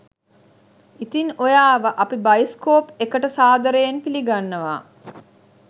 ඉතින් ඔයාව අපි බයිස්කෝප් එකට සාදරයෙන් පිළිගන්නවා